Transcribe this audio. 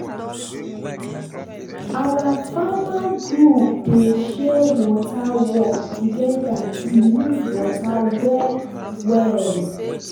our farmer group dey share water work together to use water well well.